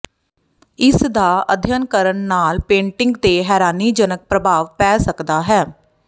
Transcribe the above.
ਇਸ ਦਾ ਅਧਿਐਨ ਕਰਨ ਨਾਲ ਪੇਂਟਿੰਗ ਤੇ ਹੈਰਾਨੀਜਨਕ ਪ੍ਰਭਾਵ ਪੈ ਸਕਦਾ ਹੈ